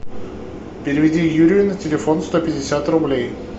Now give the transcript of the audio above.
переведи юрию на телефон сто пятьдесят рублей